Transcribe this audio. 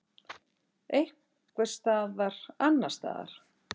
Einhvers staðar annars staðar.